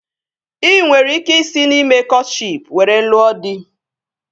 Ị nwere ike isi na ime kọtshịp were lụọ dị